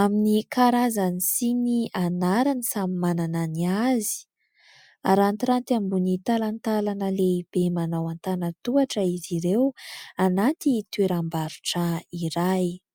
amin'ny karazany sy ny anarany samy manana ny azy. Arantiranty ambony talantalana lehibe manao antanatohatra izy ireo anaty toeram-barotra iray.